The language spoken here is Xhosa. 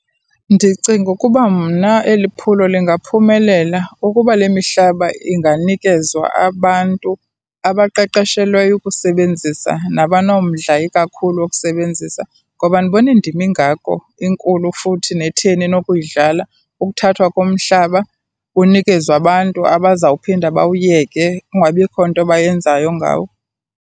Ndicinga ukuba mna eli phulo lingaphumelela ukuba le mihlaba inganikezwa abantu abaqeqeshelweyo ukusebenzisa, nabanomdla ikakhulu ukusebenzisa. Ngoba andiboni ndima ingako, enkulu futhi netheni enokuyidlala ukuthathwa komhlaba unikezwe abantu abazawuphinda bawuyeke kungabikho nto bayenzayo ngawo.